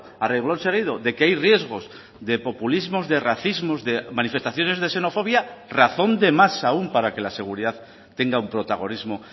a reglón seguido de que hay riesgos de populismos de racismos de manifestaciones de xenofobia razón de más aun para que la seguridad tenga un protagonismo